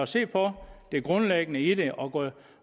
se på det grundlæggende i det og